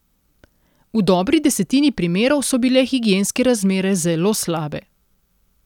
V dobri desetini primerov so bile higienske razmere zelo slabe.